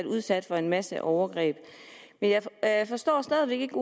udsat for en masse overgreb jeg forstår stadig væk ikke